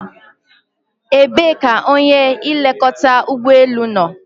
Ebee ka onye nlekọta ụgbọ elu nọ?